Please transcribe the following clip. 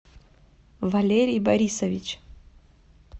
валерий борисович